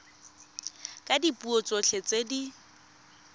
ka dipuo tsotlhe tse di